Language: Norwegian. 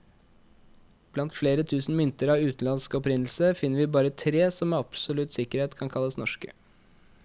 Blant flere tusen mynter av utenlandsk opprinnelse, finner vi bare tre som med absolutt sikkerhet kan kalles norske.